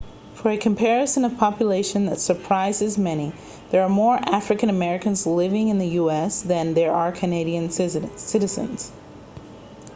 for a comparison of population that surprises many there are more african americans living in the us than there are canadian citizens